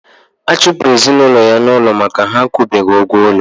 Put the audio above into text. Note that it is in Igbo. A chụpụrụ ezinụlọ ya n'ụlọ maka na ha akwụbeghi ụgwọ ụlọ